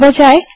चलो देखते हैं